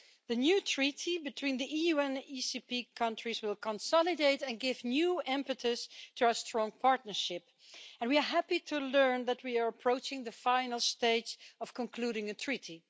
The new treaty between the EU and the ACP countries will consolidate and give new impetus to our strong partnership and we are happy to learn that we are approaching the final stage of concluding a treaty.